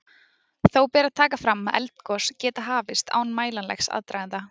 Þó ber að taka fram að eldgos geta hafist án mælanlegs aðdraganda.